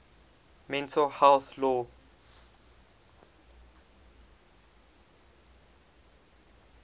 mental health law